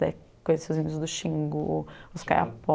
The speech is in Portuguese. Daí eu conheci os índios do Xingu, os Kayapó.